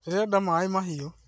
Ndĩrenda maĩ mahiũ